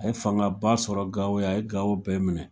A ye fangaba sɔrɔ Gao yan, a ye Gao bɛɛ minɛ.